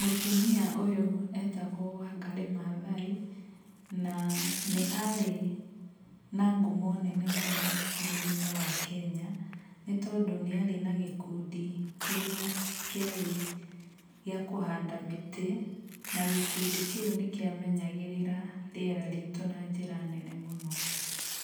Mũtumia ũyũ etagwo Wangarĩ Maathai, na nĩ arĩ na ngumo nene mũno bũrũri-inĩ wa Kenya, nĩ tondũ nĩ arĩ na gĩkundi kĩrĩa kĩarĩ gĩa kũhanda mĩtĩ na gĩkundi kĩu nĩkĩamenyagĩrĩra rĩera ritũ na njĩra nene mũno.